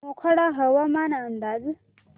मोखाडा हवामान अंदाज